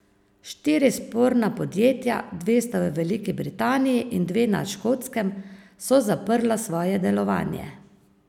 Štiri sporna podjetja, dve sta v Veliki Britaniji in dve na Škotskem, so zaprla svoje delovanje.